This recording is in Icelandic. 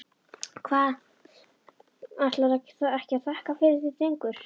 Hvað, ætlarðu ekki að þakka fyrir þig drengur?